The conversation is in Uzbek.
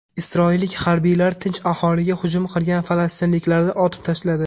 Isroillik harbiylar tinch aholiga hujum qilgan falastinliklarni otib tashladi.